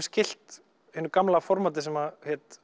skylt hinu gamla formatti sem hét